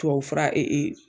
Tubabu fura